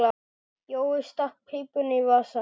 Jói stakk pípunni í vasann.